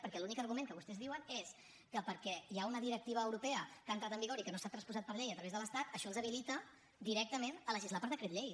perquè l’únic argument que vostès diuen és que perquè hi ha una directiva europea que ha entrat en vigor i que no s’ha transposat per llei a través de l’estat això els habilita directament a legislar per decret llei